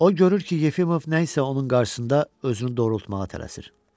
O görür ki, Yefimov nə isə onun qarşısında özünü doğrultmağa tələsir.